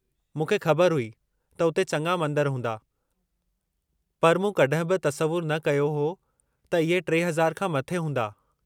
मूंखे ख़बर हुई त उते चङा मंदर हूंदा, पर मूं कॾहिं बि तसवुरु न कयो हो त इहे 3000 खां मथे हूंदा।